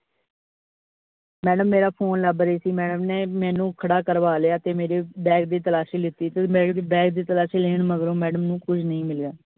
madam ਮੇਰਾ phone ਲੱਭ ਰਹੀ ਸੀ। madam ਨੇ ਮੈਨੂੰ ਖੜਾ ਕਰਵਾ ਲਿਆ ਤੇ ਮੇਰੀ bag ਦੀ ਤਲਾਸ਼ੀ ਲੀਤੀ ਤੇ ਮੇਰੇ bag ਦੀ ਤਲਾਸ਼ੀ ਲੈਣ ਮਗਰੋ madam ਨੂੰ ਕੁਛ ਨਹੀਂ ਮਿਲਿਆ।